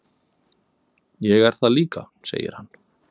"""Ég er það líka, segir hann."""